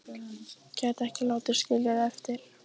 Gæti ekki látið skilja sig eftir.